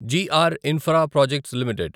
G R Infraprojects limited